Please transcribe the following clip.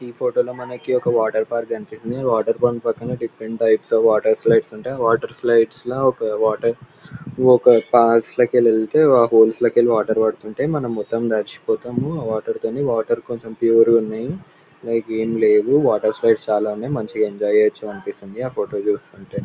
ఈ ఫోటో లో మనకి ఒక వాటర్ పార్క్ కనిపిస్తుంది. ఈ వాటర్ పాయింట్ పక్కనే different types of water slides ఉంటాయి ఆ వాటర్ స్లైడ్స్ న ఒక వాటర్ ఇవొక లకెళ్తే హోల్స్ లేకెళ్లి వాటర్ పడతుంటే మనం మొత్తం తడిచిపోతాము వాటర్ తోని వాటర్ కొంచెం ప్యూర్ గున్నయి లైక్ ఏం లేవు వాటర్ స్లైడ్స్ చాలా ఉన్నయ్ మంచిగా ఎంజాయ్ చేయొచ్చు అనిపిస్తుంది ఆ ఫోటో చుస్తుంటే.